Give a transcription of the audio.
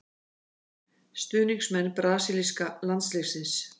Stuðningsmenn brasilíska landsliðsins.